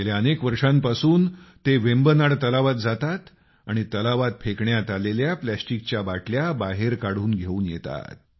गेल्या अनेक वर्षांपासून ते वेम्बनाड तलावात जातात आणि तलावात फेकण्यात आलेल्या प्लॅस्टिकच्या बाटल्या बाहेर काढून घेऊन येतात